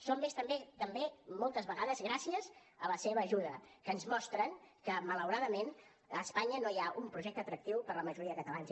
som més també moltes vegades gràcies a la seva ajuda que ens mostren que malauradament a espanya no hi ha un projecte atractiu per a la majoria de catalans